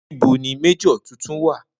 Nibo ni Major titun wa?